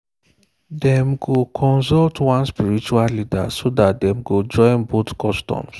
dem go consult one spiritual leader so that dem go join both customs.